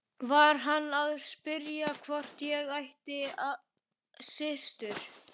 Var hann að spyrja hvort ég ætti systur?